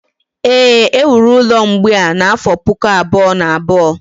Éè, e wuru ụlọ mgbei a n’afọ Puku abụọ na abụọ.